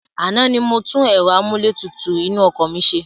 Àná ni mo tún ẹ̀rọ amúlétutù inú ọkọ̀ mi ṣe.